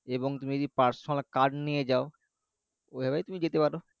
এবং তুমি যদি personal car নিয়ে যাও, ঐভাবেই তুমি যেতে পারো